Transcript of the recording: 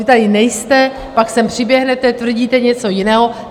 Vy tady nejste, pak sem přiběhnete, tvrdíte něco jiného.